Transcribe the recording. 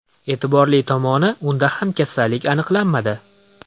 E’tiborli tomoni, unda ham kasallik aniqlanmadi.